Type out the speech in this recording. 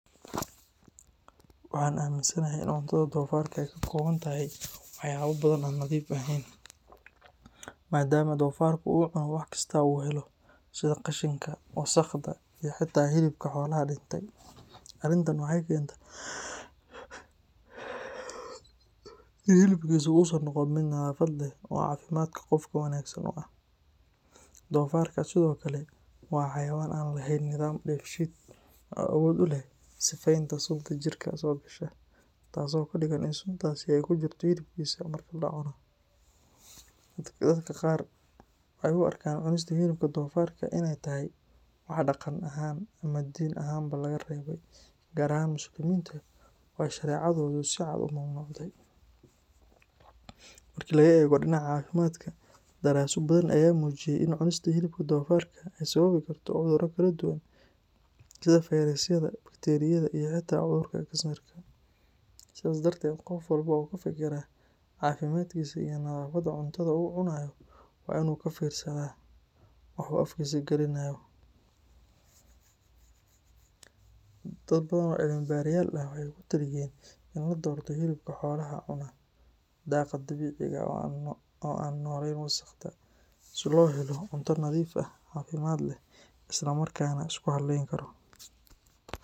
Waxaan aaminsanahay in cuntada doofaarka ay ka koobantahay waxyaabo badan oo aan nadiif ahayn, maadaama doofaarku uu cuno wax kasta oo uu helo sida qashinka, wasakhda iyo xitaa hilibka xoolaha dhintay. Arrintan waxay keentaa in hilibkiisu uusan noqon mid nadaafad leh oo caafimaadka qofka wanaagsan u ah. Doofaarka sidoo kale waa xayawaan aan lehayn nidaam dheefshiid oo awood u leh sifeynta sunta jirka soo gasha, taasoo ka dhigan in suntaasi ay ku jirto hilibkiisa marka la cuno. Dadka qaar waxay u arkaan cunista hilibka doofaarka inay tahay wax dhaqan ahaan ama diin ahaanba laga reebay, gaar ahaan muslimiinta oo ay shareecadoodu si cad u mamnuucday. Marka laga eego dhinaca caafimaadka, daraasado badan ayaa muujiyay in cunista hilibka doofaarka ay sababi karto cudurro kala duwan sida fayrasyada, bakteeriyada iyo xitaa cudurka kansarka. Sidaas darteed, qof walba oo ka fikira caafimaadkiisa iyo nadaafadda cuntada uu cunayo waa inuu ka fiirsadaa waxa uu afkiisa gelinayo. Dad badan oo cilmibaarayaal ah waxay ku taliyeen in la doorto hilibka xoolaha cuna daaqa dabiiciga ah oo aan ku noolayn wasakhda, si loo helo cunto nadiif ah, caafimaad leh, islamarkaana la isku halleyn karo.